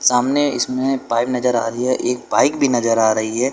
सामने इसमें पाइप नजर आ रही है एक बाइक भी नजर आ रही है।